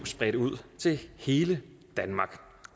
bredt ud til hele danmark